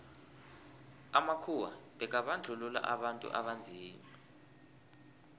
amakhuwa bekabandluua abantu abanzima